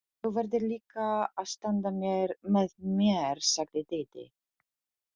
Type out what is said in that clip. Þú verður líka að standa með mér, sagði Dídí.